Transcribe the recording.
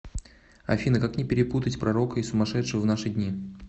афина как не перепутать пророка и сумашедшего в наши дни